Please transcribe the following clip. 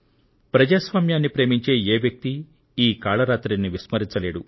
ప్రజాస్వామ్యాన్ని ప్రేమించే ఏ వ్యక్తి ఈ కాళరాత్రిని విస్మరించలేడు